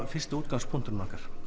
fyrsti útgangspunktur okkar